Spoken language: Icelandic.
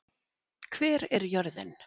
Hver er jörðin?